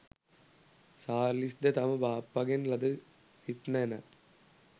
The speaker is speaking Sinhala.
සාර්ලිස් ද තම බාප්පාගෙන් ලද සිප් නැණ,